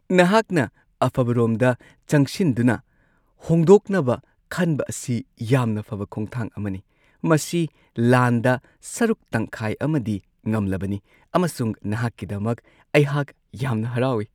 ꯅꯍꯥꯛꯅ ꯑꯐꯕꯔꯣꯝꯗ ꯆꯪꯁꯤꯟꯗꯨꯅ ꯍꯣꯡꯗꯣꯛꯅꯕ ꯈꯟꯕ ꯑꯁꯤ ꯌꯥꯝꯅ ꯐꯕ ꯈꯣꯡꯊꯥꯡ ꯑꯃꯅꯤ ꯫ ꯃꯁꯤ ꯂꯥꯟꯗ ꯁꯔꯨꯛ ꯇꯪꯈꯥꯏ ꯑꯃꯗꯤ ꯉꯝꯂꯕꯅꯤ ꯑꯃꯁꯨꯡ ꯅꯍꯥꯛꯀꯤꯗꯃꯛ ꯑꯩꯍꯥꯛ ꯌꯥꯝꯅ ꯍꯔꯥꯎꯋꯤ ꯫